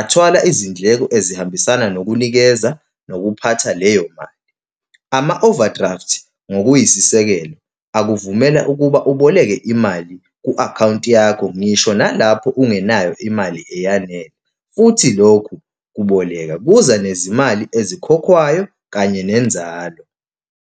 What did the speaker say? athwala izindleko ezihambisana nokunikeza nokuphatha leyo mali. Ama-overdraft, ngokuyisisekelo, akuvumela ukuba uboleke imali ku-akhawunti yakho, ngisho nalapho ungenayo imali eyanele. Futhi lokhu kuboleka kuza nezimali ezikhokhwayo kanye nenzalo.